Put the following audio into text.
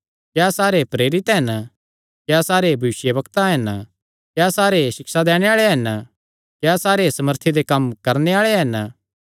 क्या सारे प्रेरित हन क्या सारे भविष्यवक्ता हन क्या सारे सिक्षा दैणे आल़े हन क्या सारे सामर्थी दे कम्म करणे आल़े हन